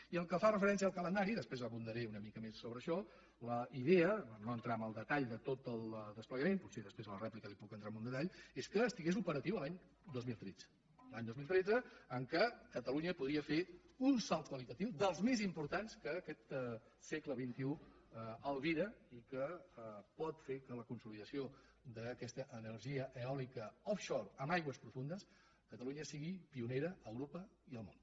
i pel que fa referència al calendari després hi abundaré una mica més sobre això la idea per no entrar en el detall de tot el desplegament potser després a la rèplica hi puc entrar en algun detall és que fos operatiu l’any dos mil tretze l’any dos mil tretze en què catalunya podria fer un salt qualitatiu dels més importants que aquest segle xxi albira i que pot fer que en la consolidació d’aquesta energia eòlica offshore catalunya sigui pionera a europa i al món